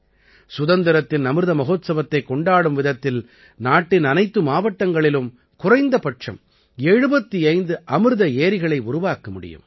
சுதந்திரத்தின் அமிர்த மஹோத்ஸவத்தைக் கொண்டாடும் விதத்தில் நாட்டின் அனைத்து மாவட்டங்களிலும் குறைந்தபட்சம் 75 அமிர்த ஏரிகளை உருவாக்க முடியும்